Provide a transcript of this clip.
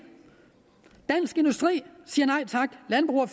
at at landbrug